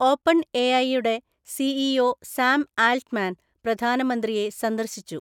ഓപ്പൺഎഐയുടെ CEO Sam Altman പ്രധാനമന്ത്രിയെ സന്ദർശിച്ചു